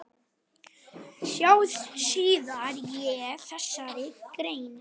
Sjá síðar í þessari grein.